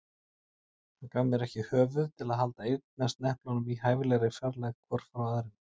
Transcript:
Hann gaf mér ekki höfuð til að halda eyrnasneplunum í hæfilegri fjarlægð hvorum frá öðrum.